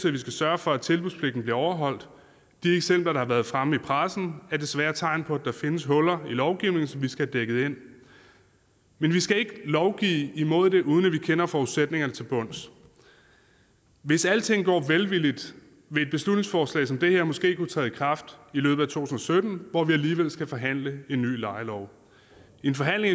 at vi skal sørge for at tilbudspligten bliver overholdt de eksempler der har været fremme i pressen er desværre tegn på at der findes huller i lovgivningen som vi skal have dækket ind men vi skal ikke lovgive imod det uden at vi kender forudsætningerne til bunds hvis alting går vel vil et beslutningsforslag som det her måske kunne træde i kraft i løbet af to tusind og sytten hvor vi alligevel skal forhandle en ny lejelov i en forhandling